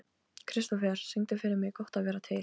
Kristofer, syngdu fyrir mig „Gott að vera til“.